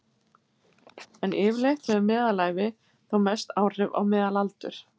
En yfirleitt hefur meðalævi þó mest áhrif á meðalaldur.